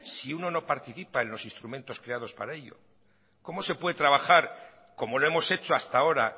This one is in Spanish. si uno no participa en los instrumentos creados para ellos como se puede trabajar como lo hemos hecho hasta ahora